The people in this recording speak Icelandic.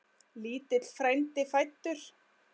Lítill frændi fæddur.